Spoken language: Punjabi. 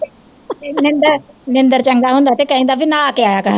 ਨਿੰਦਰ ਨਿੰਦਰ ਕਹਿੰਦਾ ਹੁੰਦਾ ਤੇ ਕਹਿੰਦਾ ਵੀ ਨਹਾ ਕੇ ਆਇਆ ਕਰ।